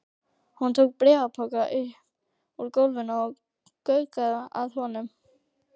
Hún tók bréfpoka upp úr gólfinu og gaukaði að honum.